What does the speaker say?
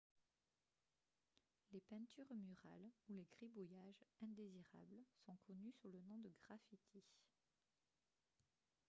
les peintures murales ou les gribouillages indésirables sont connus sous le nom de graffitis